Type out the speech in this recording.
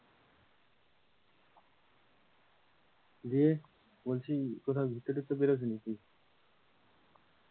দিয়ে বলছি কোথাও ঘুরতে টুরতে বেরোবি নাকি,